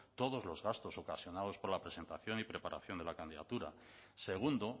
todos los gastos ocasionados por la presentación y preparación de la candidatura segundo